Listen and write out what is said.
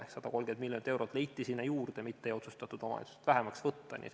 Ehk 130 miljonit eurot leiti sinna juurde, mitte ei otsustatud omavalitsustelt raha vähemaks võtta.